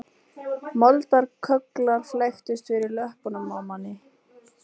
Moldarkögglar flæktust fyrir löppunum á manni